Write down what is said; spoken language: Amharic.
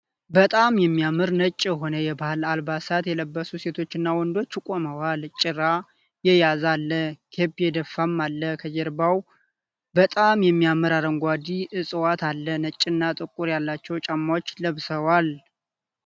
በጣም የሚያምር ነጭ የሆነ የባህል አልባሳት የለበሱ ሴቶችና ወንዶች ቁመዋል። ጭራ የያዘ አለ ። ኬፕ የደፋም አለ። ከጀርባቸው በጣም የሚያምር አረንጓዴ ዕፅዋት አለ ። ነጭ እና ጥቁር ያላቸው ጫማዎችን ለብሰዋል።